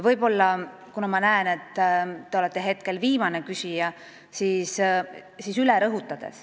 Kuna ma näen, et te olete viimane küsija, siis ma rõhutan veel ühe asja üle.